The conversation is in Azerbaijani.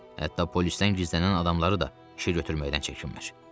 Hətta polisdən gizlənən adamları da işə götürməkdən çəkinmir.